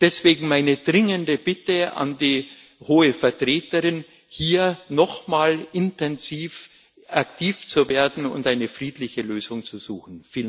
Deswegen meine dringende Bitte an die Hohe Vertreterin, hier noch mal intensiv aktiv zu werden und eine friedliche Lösung zu suchen.